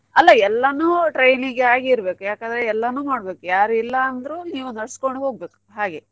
ಅಲ್ಲ ಎಲ್ಲಾನು training ಆಗಿ ಇರ್ಬೆಕ್ ಯಾಕೆ ಅಂದ್ರೆ ಎಲ್ಲಾನು ಮಾಡ್ದ್ಬೇಕ್ ಯಾರು ಇಲ್ಲ ಅಂದ್ರು ನೀವು ನಡ್ಸ್ಕೊಂಡ್ ಹೋಗ್ಬೇಕು ಹಾಗೆ.